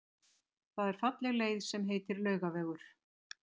Það er falleg leið sem heitir Laugavegur.